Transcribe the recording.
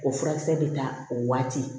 O furakisɛ bɛ ta o waati